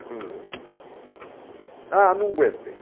cruzeiros. Ah, não aguentei.